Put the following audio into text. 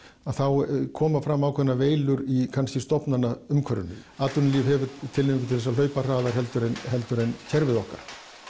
þá koma fram ákveðnar veilur í kannski stofnanaumhverfinu atvinnulíf hefur tilhneigingu til að hlaupa hraðar en kerfið okkar